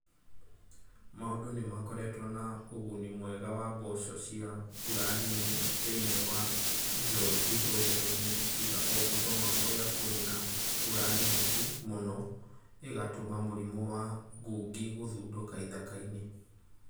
Mau͂ndu͂ ni͂ makoretwo na u͂guni mwega wa mboco ci͂a mbura nini thi͂ini͂ wa ithu͂i͂ro-ini͂ tiga o Bungoma ku͂ri͂a ku͂ri͂ na mbura nyingi͂ mu͂no i͂gatu͂ma mu͂rimu͂ wa ngungi guthunduka ithaka-ini͂.